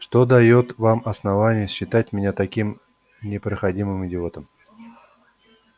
что даёт вам основание считать меня таким непроходимым идиотом